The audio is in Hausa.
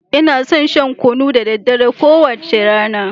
Ina son shan kunu da daddare, kowace rana.